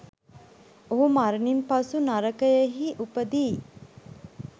ඔහු මරණින් පසු නරකයෙහි උපදියි.